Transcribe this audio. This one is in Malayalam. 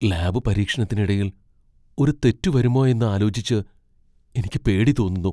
ലാബ് പരീക്ഷണത്തിനിടയിൽ ഒരു തെറ്റ് വരുമോയെന്ന് ആലോചിച്ച് എനിക്ക് പേടി തോന്നുന്നു.